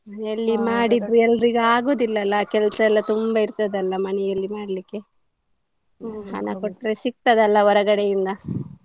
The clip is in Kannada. ಮನೆಯಲ್ಲಿ ಮಾಡಿದ್ರೆ ಎಲ್ಲರಿಗೂ ಆಗೋದಿಲ್ಲ ಅಲ ಕೆಲಸ ಎಲ್ಲಾ ತುಂಬಾ ಇರ್ತದೆ ಅಲ ಮನೇಲಿ ಮಾಡ್ಲಿಕ್ಕೆ ಹಣ ಕೊಟ್ರೆ ಸಿಗ್ತದೆ ಅಲ ಹೊರಗಡೆಯಿಂದ.